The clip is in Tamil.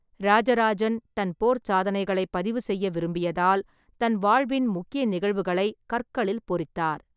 ராஜராஜன் தன் போர்ச் சாதனைகளைப் பதிவுசெய்ய விரும்பியதால், தன் வாழ்வின் முக்கிய நிகழ்வுகளை கற்களில் பொறித்தார்.